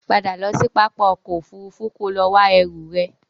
Padà lọ sí pápá ọkọ̀ Òfurufú kò lọ wá ẹrú ẹ!